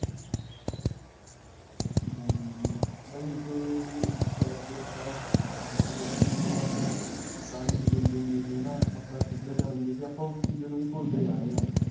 ਹਾਂਜੀ, ਹਾਂਜੀ. ਬਾਈ ਉਸੇ ਅਅ ਗੱਲ ਤੇ ਆਪਾਂ ਕਰਨੀ ਸੀ ਗੱਲ, ਜਿਵੇਂ ਆਪਣੇ ਪੁਰਾਣੇ ਬਜੁਰਗ ਹੁੰਦੇ ਸੀ ਹੈ ਨਾ, ਆਪਾਂ ਸਭਿਆਚਾਰ ਹੁੰਦੇ ਸੀ, ਆਪਾਂ ਉਸ ਚੀਜ਼ਾ ਨੂੰ ਵੀ ਭੁਲਦੇ ਜਾ ਰਹੇ ਹਾਂ.